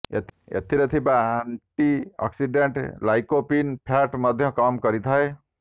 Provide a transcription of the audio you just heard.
ଏଥିରେ ଥିବା antioxidant lycopene fat ମଧ୍ୟ କମ୍ କରିଥାଏ